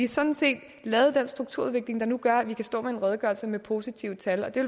sådan set lavet den strukturudvikling der nu gør at vi kan stå med en redegørelse med positive tal og det